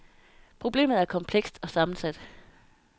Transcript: Problemet er komplekst og sammensat.